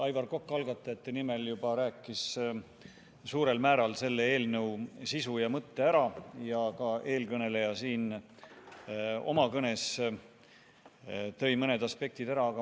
Aivar Kokk algatajate nimel juba rääkis suurel määral selle eelnõu sisu ja mõtte ära ja ka eelkõneleja tõi oma kõnes mõned aspektid ära.